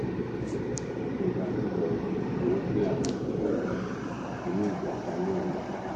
òsibítù ìjọba ńìlọrin ni wọn gbé àwọn òkú tó kù nínú ìjàmbá náà lọ